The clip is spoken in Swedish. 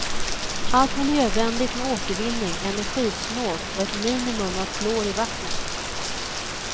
Allt miljövänligt med återvinning, energisnålt och ett minimum av klor i vattnet.